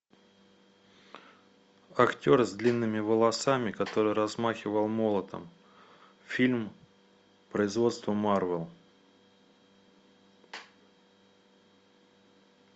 актер с длинными волосами который размахивал молотом фильм производства марвел